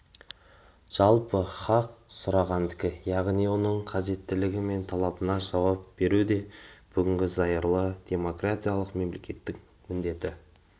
жалпы хақ сұрағандыкі яғни оның қажеттілігі мен талабына жауап беру де бүгінгі зайырлы демократиялық мемлекеттің міндеті